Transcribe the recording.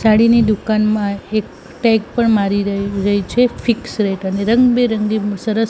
સાડીની દુકાનમાં એક ટેગ પણ મારી રઈ રહી છે ફિક્સ રેટ અને રંગ બેરંગી સરસ--